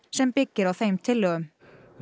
sem byggir á þeim tillögum